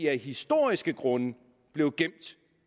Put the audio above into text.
af historiske grunde blev gemt